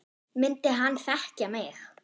Myndi hann þekkja mig?